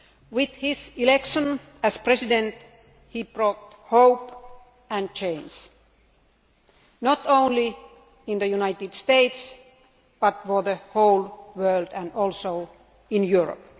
With his election as President, he brought hope and change, not only in the United States but for the whole world and also in Europe.